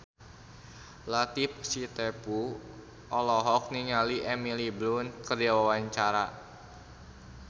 Latief Sitepu olohok ningali Emily Blunt keur diwawancara